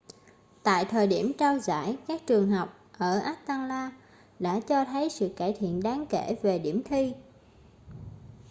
tại thời điểm trao giải các trường học ở atlanta đã cho thấy sự cải thiện đáng kể về điểm thi